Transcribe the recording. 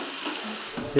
þið